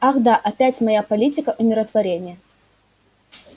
ах да опять моя политика умиротворения